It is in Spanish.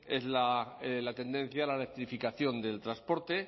es la tendencia a la electrificación del transporte